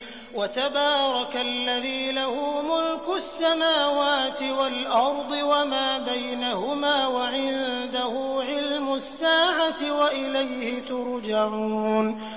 وَتَبَارَكَ الَّذِي لَهُ مُلْكُ السَّمَاوَاتِ وَالْأَرْضِ وَمَا بَيْنَهُمَا وَعِندَهُ عِلْمُ السَّاعَةِ وَإِلَيْهِ تُرْجَعُونَ